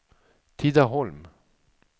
Tidaholm